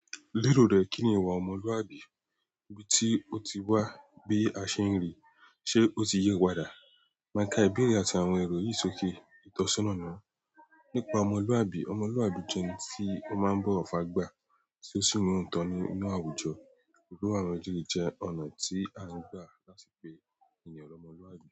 Lérò rẹ kíni ìwà ọmọluabi? Ibi tí o ti wabe a ṣe ń ri ṣe ọtí yí padà. Máka ìbéèrè àti àwọn èrò yìí ṣòkè ìtọ́sọ́nà nìwọn nípa ọmọlúwàbí. Ọmọluabi jẹ ẹni tí o máa ń bọwọ fágbà tí o sì ní ootọ nínú àwùjọ irú àwọn eleyi jẹ́ ọ̀nà tí a ń gbà láti pè èèyàn lọmọlúwàbí.